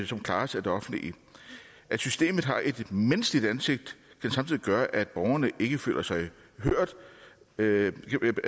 som klares af det offentlige at systemet ikke har et menneskeligt ansigt kan samtidig gøre at borgerne ikke føler sig hørt